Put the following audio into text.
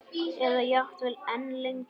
Eða jafnvel enn lengur.